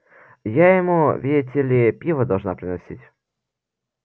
я ему видите ли пиво должна приносить